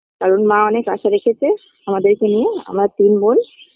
কারণ মা অনেক আশা রেখেছে আমাদেরকে নিয়ে আমরা তিন বোন